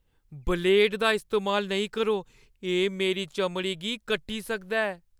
Blade दा इस्तेमाल नेईं करो। एह् मेरी चमड़ी गी कट्टी सकदा ऐ।